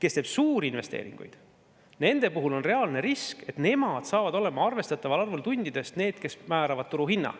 On reaalne risk, et need, kes teevad suuri investeeringuid, saavad olema arvestataval arvul tundidest need, kes määravad turuhinna.